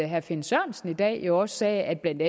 herre finn sørensen i dag jo også sagde at blandt